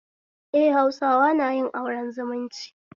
Eh, Hausawa na yin aure zumunci